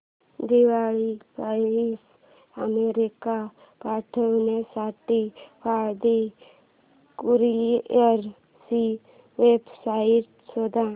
दिवाळी फराळ अमेरिकेला पाठविण्यासाठी पाळंदे कुरिअर ची वेबसाइट शोध